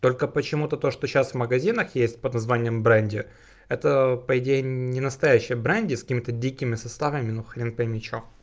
только почему-то то что сейчас в магазинах есть под названием бренди это по идее ненастоящая бренди с какими-то дикими составами ну хрен поймёшь что